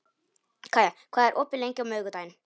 Kaía, hvað er opið lengi á miðvikudaginn?